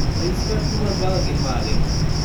Ranyisi mag tuwo mar Buerger gin mage?